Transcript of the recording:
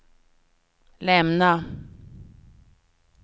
lämna